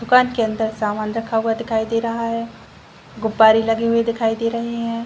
दुकान के अंदर सामान रखा हुआ दिखाई दे रहा है गुप्पारी लगे हुए दिखाई दे रहे हैं।